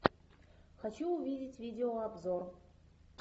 хочу увидеть видео обзор